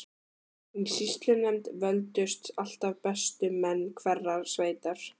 Í sýslunefnd völdust alltaf bestu menn hverrar sveitar.